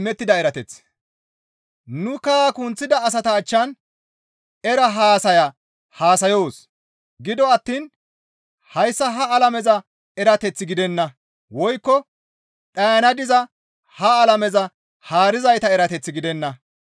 Nu kaha kunththida asata achchan era haasaya haasayoos; gido attiin hayssa ha alameza erateth gidenna; woykko dhayana diza ha alameza haarizayta erateth gidenna.